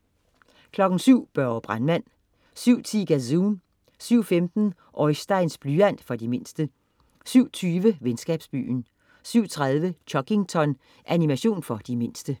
07.00 Børge brandmand 07.10 Gazoon 07.15 Oisteins blyant. For de mindste 07.20 Venskabsbyen 07.30 Chuggington. Animation for de mindste